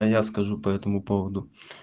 а я скажу по этому поводу